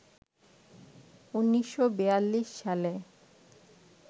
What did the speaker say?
১৯৪২ সালে